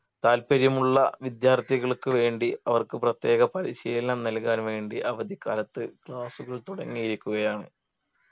താല്പര്യമുള്ള വിദ്യാർത്ഥികൾക്ക് വേണ്ടി അവർക്ക് പ്രത്യേക പരിശീലനം നൽകാൻ വേണ്ടി അവധിക്കാലത്ത് class കൾ തുടങ്ങിയിരിക്കുകയാണ്